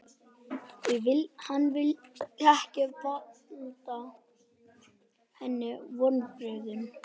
Því hann vildi ekki valda henni vonbrigðum.